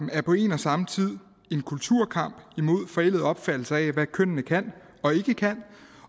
er på en og samme tid en kulturkamp imod forældede opfattelser af hvad kønnene kan og ikke kan